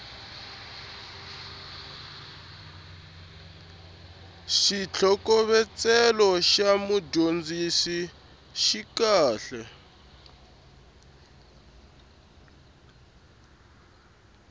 xitlhokovetselo xa mudyondzisi xi kahle